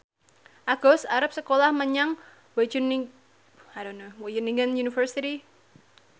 Agus arep sekolah menyang Wageningen University